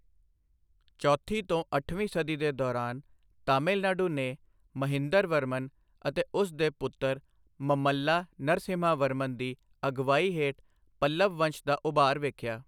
ਚੌਥੀ ਤੋਂ ਅੱਠਵੀਂ ਸਦੀ ਦੇ ਦੌਰਾਨ, ਤਾਮਿਲਨਾਡੂ ਨੇ ਮਹਿੰਦਰਵਰਮਨ ਅਤੇ ਉਸ ਦੇ ਪੁੱਤਰ ਮਮੱਲਾ ਨਰਸਿਮਹਾਵਰਮਨ ਦੀ ਅਗਵਾਈ ਹੇਠ ਪੱਲਵ ਵੰਸ਼ ਦਾ ਉਭਾਰ ਵੇਖਿਆ।